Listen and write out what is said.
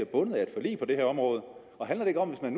bundet af et forlig på det her område og handler det ikke om at